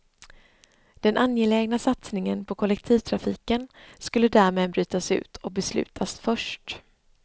Den angelägna satsningen på kollektivtrafiken skulle därmed brytas ut och beslutas först.